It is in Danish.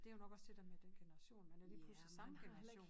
Det jo nok også det dér med den generation man er lige pludselig samme generation